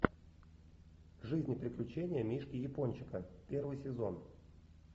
жизнь и приключения мишки япончика первый сезон